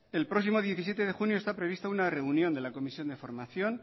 el próximo diecisiete de junio está prevista una reunión de la comisión de formación